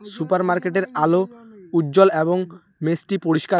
Super মার্কেটের আলো উজ্জ্বল এবং মেঝটি পরিষ্কার।